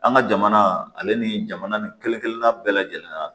An ka jamana ale ni jamana ni kelen kelenna bɛɛ lajɛlen